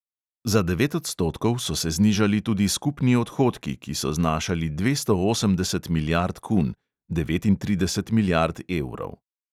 Za devet odstotkov so se znižali tudi skupni odhodki, ki so znašali dvesto osemdeset milijard kun (devetintrideset milijard evrov).